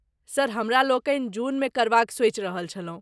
Sir, हमरालोकनि जूनमे करबाक सोचि रहल छलहुँ?